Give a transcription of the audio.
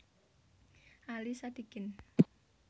Ali Sadikin